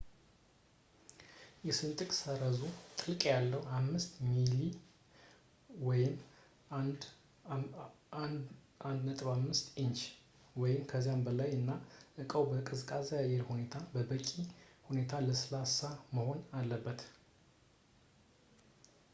የስንጥቅ ሰረዙ ጥልቀት ያለው ፣ 5 ሚሜ 1/5 ኢንች ወይም ከዚያ በላይ ፣ እና እቃው በቀዝቃዛ አየር ውስጥ በበቂ ሁኔታ ለስላሳ መሆን አለበት